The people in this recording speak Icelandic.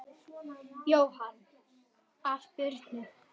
Jóhann: Af Birnu?